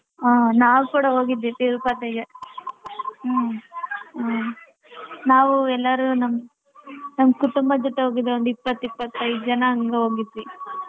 ಹ ನಾವ್ ಕೂಡ ಹೋಗಿದ್ವಿ ತಿರುಪತಿಗೆ ಹ್ಮ ನಾವು ಎಲ್ಲಾರು ನಮ್ಮ ಕುಟುಂಬದ ಜೊತೆ ಹೋಗಿದ್ವಿ ಒಂದ್ ಇಪ್ಪತ ಇಪ್ಪತ ಐದ ಜನ ಅಂಗೆ ಹೋಗಿದ್ವಿ.